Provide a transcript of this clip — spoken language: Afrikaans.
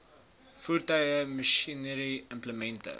voertuie masjinerie implemente